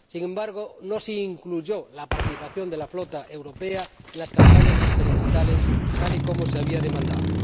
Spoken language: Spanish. Sin embargo, no se incluyó la participación de la flota europea en las campañas experimentales, tal y como se había demandado.